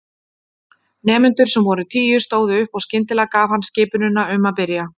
Nemendur, sem voru tíu, stóðu upp og skyndilega gaf hann skipunina um að byrja.